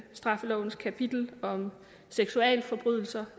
straffelovens kapitel om seksualforbrydelser